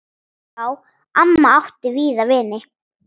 Já, amma átti víða vini.